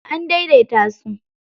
An daidaita su.